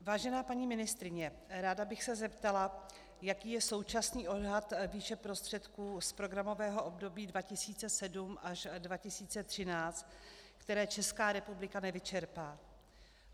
Vážená paní ministryně, ráda bych se zeptala, jaký je současný odhad výše prostředků z programového období 2007 až 2013, které Česká republika nevyčerpá.